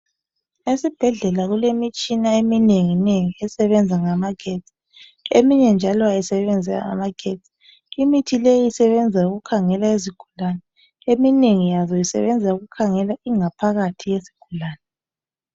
Esibhedlela kulemitshina eminengi nengi esebenza ngamagetsi, eminye njalo ayisebenzi ngamagetsi. Imithi leyi isebenza ukukhangela izigulane. Eminengi yazo isebenza ukukhangela ingaphakathi yesigulane.